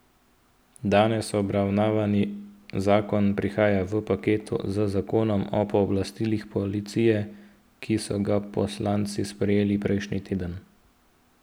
Danes obravnavani zakon prihaja v paketu z zakonom o pooblastilih policije, ki so ga poslanci sprejeli prejšnji teden.